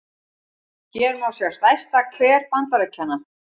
hér má sjá stærsta hver bandaríkjanna